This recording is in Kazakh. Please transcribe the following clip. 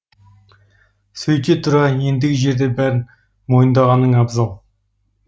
сөйте тұра ендігі жерде бәрін мойындағаның абзал